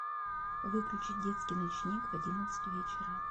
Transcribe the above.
выключить детский ночник в одиннадцать вечера